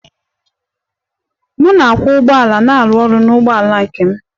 M na-akwọ ụgbọala na-arụ ọrụ n'ụgbọala nke m.